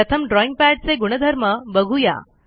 प्रथम ड्रॉईंग पॅडचे गुणधर्म बघू या